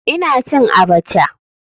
Ina cin abacha.